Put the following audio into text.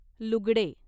लुगडे